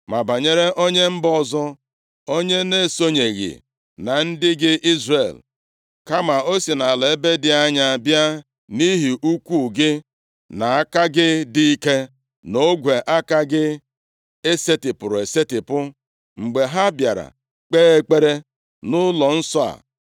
“Ma banyere onye mba ọzọ, onye na-esonyeghị na ndị gị Izrel, kama o si nʼala ebe dị anya bịa nʼihi ukwu gị, nʼaka gị dị ike na ogwe aka gị e setipụrụ esetipụ. Mgbe ha bịara kpee ekpere nʼụlọnsọ a,